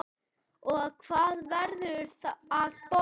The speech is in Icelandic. Og hvað verður að borða?